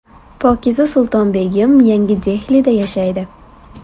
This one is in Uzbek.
Pokiza Sultonbegim yangi Dehlida yashaydi.